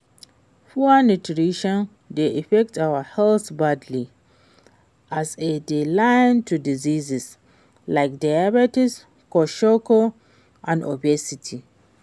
Poor nutirition dey affect our health badly, as e dey lead to diseases like diabetes, kwasokor, and obesity.